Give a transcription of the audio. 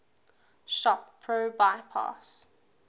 shop pro bypass